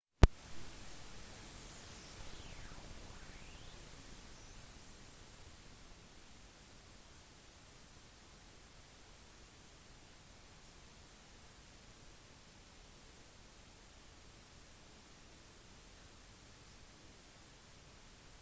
guinness har etter 250 år vokst frem som en global virksomhet som tjener over 10 milliarder euro 14,7 milliarder usd hvert år